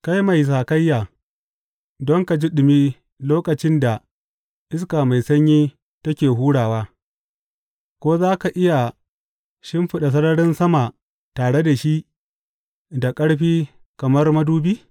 Kai mai sa kaya don ka ji ɗumi lokacin da iska mai sanyi take hurawa, ko za ka iya shimfiɗa sararin sama tare da shi da ƙarfi kamar madubi?